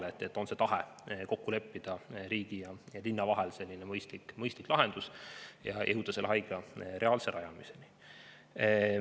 et on tahe leppida riigi ja linna vahel kokku mõistlik lahendus ja jõuda reaalselt haigla rajamiseni.